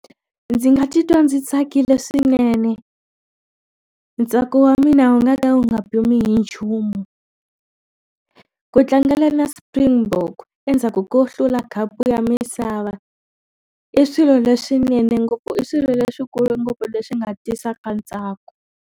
Ndzi nga titwa ndzi tsakile swinene ntsako wa mina wu nga ta wu nga pfuni hi nchumu ku tlangela na Springbok endzhaku ko hlula khapu ya misava i swilo leswinene ngopfu i swilo leswikulu ngopfu leswi nga tisaka ntsako.